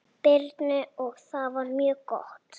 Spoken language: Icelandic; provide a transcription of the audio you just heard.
Birnu og það var mjög gott.